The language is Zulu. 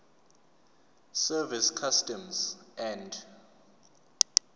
service customs and